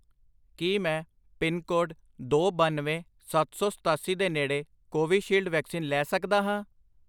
ਕੀ ਮੈਂ ਪਿਨਕੋਡ ਦੋ, ਬੱਨਵੇਂ, ਸੱਤ ਸੌ ਸਤਾਸੀ ਦੇ ਨੇੜੇ ਕੋਵਿਸ਼ਿਲਡ ਵੈਕਸੀਨ ਲੈ ਸਕਦਾ ਹਾਂ?